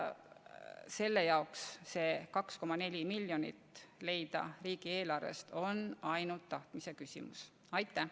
Üks teine eelnõu, mis meil siin varsti arutusele tuleb, ju rõhub samale asjale.